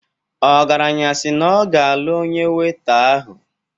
Ogaranya si na ọ ga-alụ onye weita ahụ